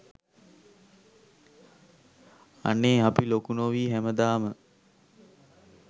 අනේ අපි ලොකු නොවී හැමදාම